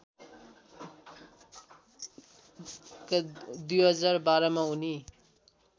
२०१२मा उनी